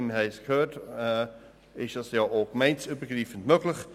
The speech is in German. Wie wir gehört haben, ist das ja auch gemeindeübergreifend möglich.